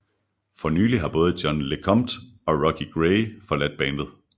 For nylig har både John LeCompt og Rocky Gray forladt bandet